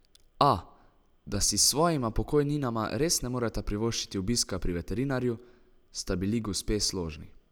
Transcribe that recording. A, da si s svojima pokojninama res ne moreta privoščiti obiska pri veterinarju, sta bili gospe složni.